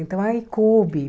Então, aí coube.